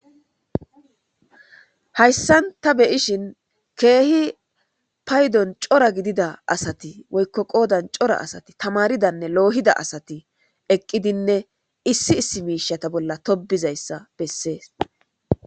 Hayssan ta beyishin keehi paydon cora gidida asati woykko qoodan cora asati tamaridanne loohida asati eqqidinne issi issi miishata bolla tobizayssa bessees